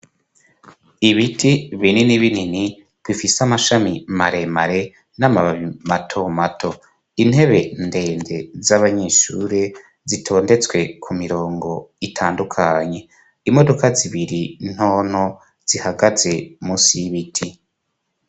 Ibiti binini binini bifise amashami maremare n'amababi mato mato, intebe ndende z'abanyeshure zitondetswe ku mirongo itandukanye, imodoka zibiri ntonto zihagaze musi y'ibiti.